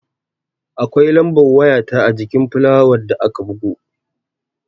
Akwai lambar waya ta ajikin fulayar da aka bugo